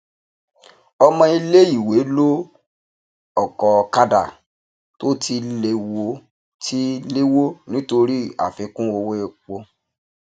ọmọ iléìwé lo ọkọọkàdà tó ti léwó ti léwó nítorí àfikún owó epo